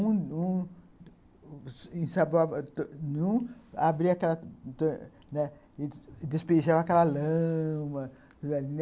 Um um ensaboava em um, despejava aquela lama...